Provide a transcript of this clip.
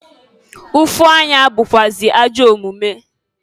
Ụfụ anya bukwụazị ajọ omumu.